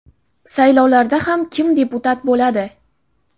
Saylovlarda ham kim deputat bo‘ladi?